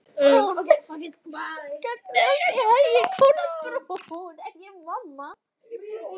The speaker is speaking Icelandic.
Gangi þér allt í haginn, Kolbrún.